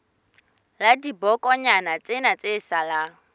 la dibokonyana tsena tse salang